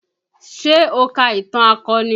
Ṣé o ka ìtàn akọni?